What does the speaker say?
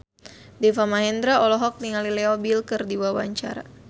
Deva Mahendra olohok ningali Leo Bill keur diwawancara